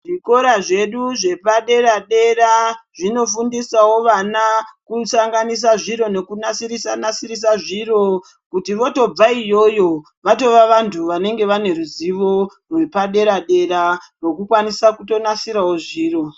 Zvikora zvedu zvepadera dera zvinofundisawo vana kusanganisa zviro nekunasirisa nasirisa zviro kuti votobva iyoyo vatova vantu vanenge vane ruzivo rwepadera dera rekukwanisa kunasirawo zviro.